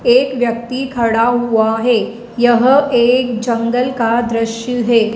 एक व्यक्ति खड़ा हुआ है यह एक जंगल का दृश्य है।